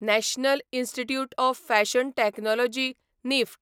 national institute of fashion technology NIFT